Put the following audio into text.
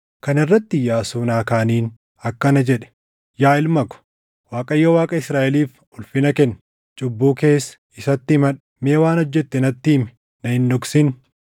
Kana irratti Iyyaasuun Aakaaniin akkana jedhe; “Yaa ilma ko, Waaqayyo Waaqa Israaʼeliif ulfina kenni; cubbuu kees isatti himadhu; mee waan hojjette natti himi; na hin dhoksin.”